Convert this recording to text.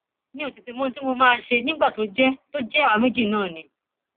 mi ò tètè mọ ohun tí mo máa ṣe nígbà tó jẹ tó jẹ àwa méjì náà ni